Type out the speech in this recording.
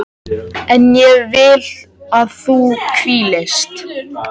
En ég vil að þú hvílist.